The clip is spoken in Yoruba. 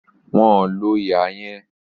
Wọn ò lo ihà yẹn